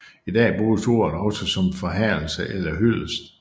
I dag bruges ordet også som forherligelse eller hyldest